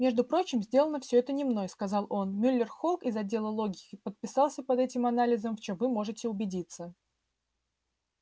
между прочим сделано все это не мной сказал он мюллер холк из отдела логики подписался под этим анализом в чем вы можете убедиться